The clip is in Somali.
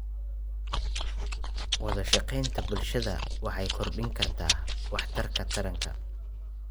Wadashaqeynta bulshada waxay kordhin kartaa waxtarka taranka.